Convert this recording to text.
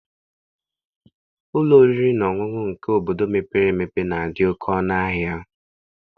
Ụlọ oriri na ọṅụṅụ nke obodo mepere emepe na-adị oke ọnụahịa.